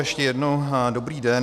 Ještě jednou dobrý den.